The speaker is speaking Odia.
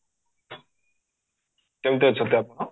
କେମିତି ଅଛନ୍ତି ଆପଣ?